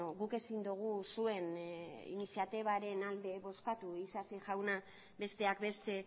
guk ezin dugu zuen iniziatibaren alde bozkatu isasi jauna besteak beste